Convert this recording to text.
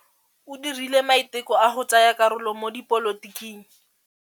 O dirile maitekô a go tsaya karolo mo dipolotiking.